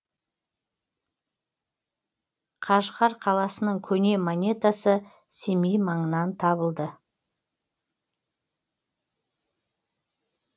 қажғар қаласының көне монетасы семей маңынан табылды